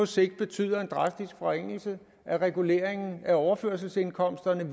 sigt betyder en drastisk forringelse af reguleringen af overførselsindkomsterne